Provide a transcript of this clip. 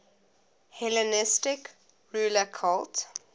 hellenistic ruler cult